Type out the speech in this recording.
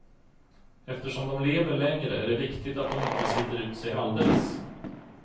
Eftersom de lever längre, är det viktigt att de inte sliter ut sig alldeles.